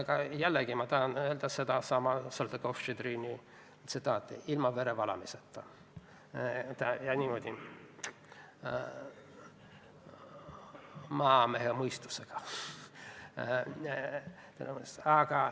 Ja jällegi ma tahan tsiteerida sedasama Saltõkov-Štšedrini ütlust: ilma verevalamiseta ja niimoodi, maamehe mõistusega.